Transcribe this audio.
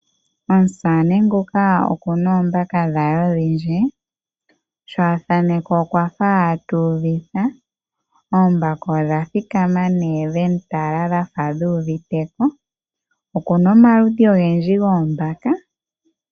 Omusamane nguka oku na oombaka dhe odhindji. Sho a thanekwa okwa fa tu uvitha. Oombaka odha thikama nduno dha fa dhu uvite ko. Oku n aomaludhi ogendji goombaka.